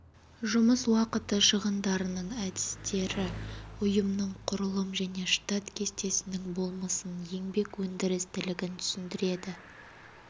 жұмыс уақыты шығындарының әдістері ұйымның құрылым және штат кестесінің болмысын еңбек өндірістілігін түсіндіреді